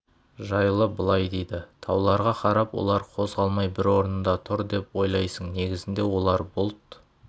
жайлы былай дейді тауларға қарап олар қозғалмай бір орнында тұр деп ойлайсың негізінде олар бұлт